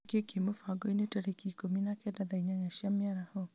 nĩ kĩĩ kĩ mũbango-inĩ tarĩki ikũmi na kenda thaa inyanya cia mĩaraho